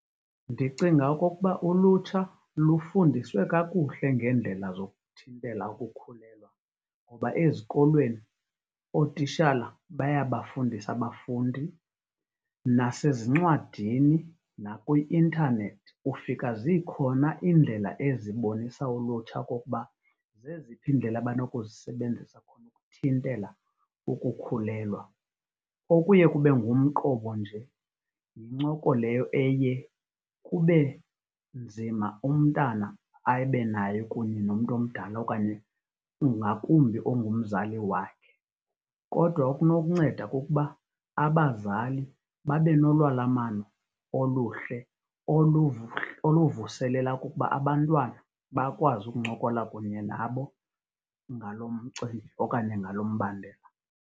Ndicinga okokuba ulutsha lufundiswe kakuhle ngeendlela zokuthintela ukukhulelwa ngoba ezikolweni ootishala bayabafundisa abafundi. Nasezincwadini nakwi-internet ufika zikhona iindlela ezibonisa ulutsha okokuba zeziphi iindlela abanokuzisebenzisa khona ukuthintela ukukhulelwa. Okuye kube ngumqobo nje yincoko leyo eye kube nzima umntana abe nayo kunye nomntu omdala okanye ngakumbi ongumzali wakhe. Kodwa okunokunceda kukuba abazali babe nolalamano oluhle oluvuselela ukuba abantwana bakwazi ukuncokola kunye nabo ngalo mcimbi okanye ngalo mbandela.